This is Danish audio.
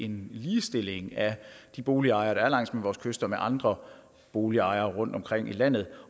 en ligestilling af de boligejere der er langs med vores kyster med andre boligejere rundtomkring i landet